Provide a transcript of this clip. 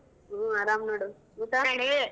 ಹು ಅರಾಮ್ ನೋಡು, ಊಟ ?